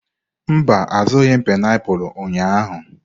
Mba, azụrụghị m painiapulu ụnyahụ.